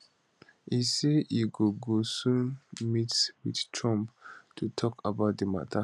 e say e go go soon meet wit trump to tok about di mata